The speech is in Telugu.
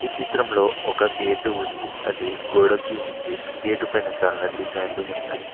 ఈ చిత్రంలో ఒక గేటు ఉంది అది గోడకి ఉంది గేటు పైన చాలా డిజైన్లు ఉన్నాయ్.